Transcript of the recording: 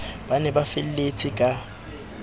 ba ne ba felletse ka